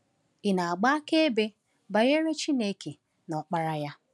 Ị na-agba akaebe banyere Chineke na Ọkpara ya.